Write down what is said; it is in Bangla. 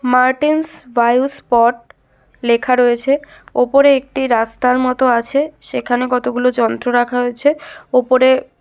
মার্টেন্স বায়ো স্পট লেখা রয়েছে। ওপরে একটি রাস্তার মতো আছে। সেখানে কতগুলো যন্ত্র রাখা হয়েছে। ওপরে--